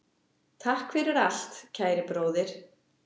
Takk fyrir allt, kæri bróðir.